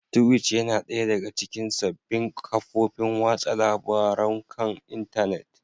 Twitch yana ɗaya daga cikin sabbin kafofin watsa labarun kan intanet